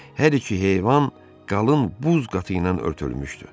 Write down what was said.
Hər iki heyvan qalın buz qatı ilə örtülmüşdü.